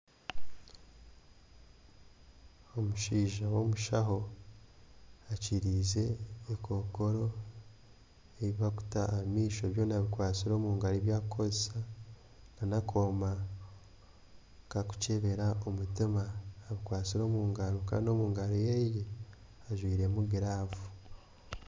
Omushaija w'omushaho akiriize akakookoro aku barikuta aha maisho, byona abikwatsire omu ngaro ebi arikukozesa, n'akoma kakukyebera omutima abikwatsire omu ngaro kandi omu ngaro ye ajwairemu giraavu.